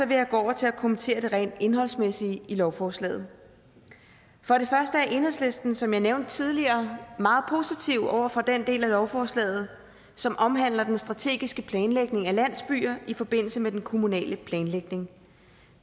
vil jeg gå over til at kommentere det rent indholdsmæssige i lovforslaget enhedslisten er som jeg nævnte tidligere meget positive over for den del af lovforslaget som omhandler den strategiske planlægning af landsbyer i forbindelse med den kommunale planlægning